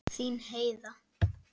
Þín Heiða.